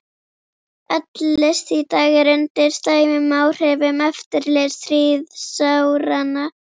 Öll list í dag er undir slæmum áhrifum eftirstríðsáranna.